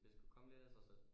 Det skulle komme lidt af sig selv